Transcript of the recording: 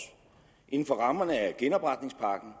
inden for rammerne af genopretningspakken